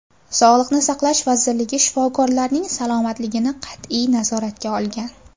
Sog‘liqni saqlash vazirligi shifokorlarning salomatligini qat’iy nazoratga olgan.